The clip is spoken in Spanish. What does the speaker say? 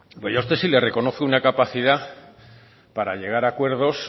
pues yo a usted sí le reconozco una capacidad para llegar a acuerdos